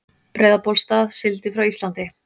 Breiðabólsstað, sigldi frá Íslandi.